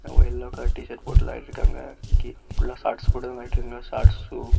Yellow colour T shirt போட்டு விலாடிட்டிருக்காங்க புல்லா ஷார்ட்ஸ் போட்டுதா விலாடிரங்க. Shorts shoe .